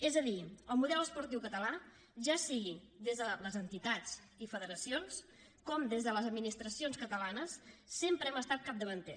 és a dir el model esportiu català ja sigui des de les entitats i federacions com des de les administracions catalanes sempre ha estat capdavanter